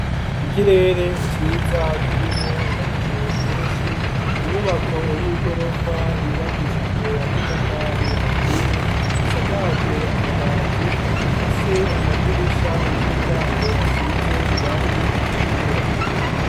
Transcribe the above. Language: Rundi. Ikirere ciza kirimo ibicu vyinshi, inyubako y'igorofa yubakishijwe amatafari ahiye, isakajwe amabati ifise amadirisha n'imiryango asize irangi ritukura.